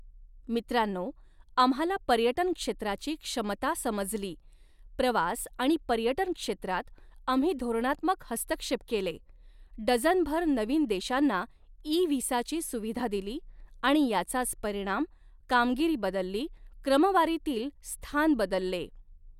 मित्रांनो, आम्हाला पर्यटन क्षेत्राची क्षमता समजली, प्रवास आणि पर्यटन क्षेत्रात आम्ही धोरणात्मक हस्तक्षेप केले, डझनभर नवीन देशांना ई व्हिसाची सुविधा देिली आणि याचाच परिणाम, कामगिरी बदलली, क्रमवारीतील स्थान बदलले.